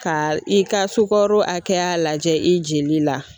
Ka i ka sukaro hakɛya lajɛ i jeli la.